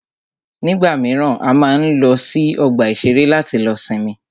Nígbà míràn, a máa ń lọ sí ọgbà ìṣẹ̀rẹ́ láti lọ sinmi.